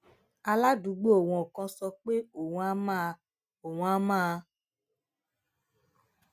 aládùúgbò wọn kan sọ pé òun á máa òun á máa